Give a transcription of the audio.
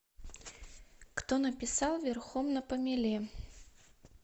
кто написал верхом на помеле